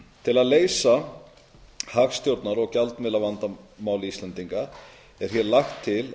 til að leysa hagstjórnar og gjaldmiðlavandamál íslendinga er hér lagt til